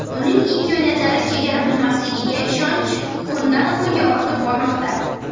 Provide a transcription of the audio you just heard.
Uning imkoniyatlari chegara bilmasligiga ishonch kundan-kunga ortib bormoqda.